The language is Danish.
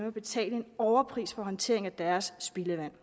at betale en overpris for håndteringen af deres spildevand